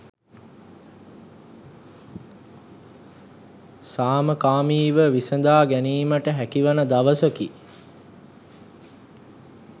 සාමකාමීව විසඳා ගැනීමට හැකිවන දවසකි.